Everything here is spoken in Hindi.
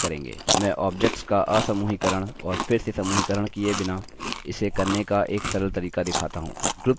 मैं objects का असमूहीकरण और फिर से समूहीकरण किये बिना इसे करने का एक सरल तरीका दिखाता हूँ